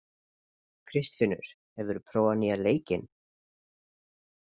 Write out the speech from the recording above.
Kristfinnur, hefur þú prófað nýja leikinn?